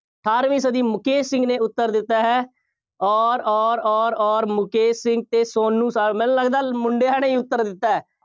ਅਠਾਰਵੀਂ ਸਦੀ ਮੁਕੇਸ਼ ਸਿੰਘ ਨੇ ਉੱਤਰ ਦਿੱਤਾ ਹੈ ਅੋਰ ਅੋਰ ਅੋਰ ਅੋਰ ਮੁਕੇਸ਼ ਸਿੰਘ ਅਤੇ ਸੋਨੂੰ ਮੈਨੂੰ ਲੱਗਦਾ ਮੁੰਡਿਆਂ ਨੇ ਹੀ ਉੱਤਰ ਦਿੱਤਾ ਹੈ।